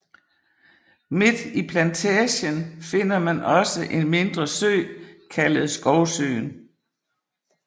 Midt i Plantagen finder man også en mindre sø kaldet Skovsøen